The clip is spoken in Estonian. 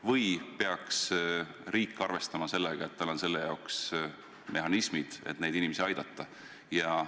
Või peaks riik arvestama sellega, et tal on selle jaoks mehhanismid, et neid inimesi aidata?